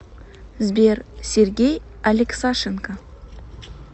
сбер сергей алексашенко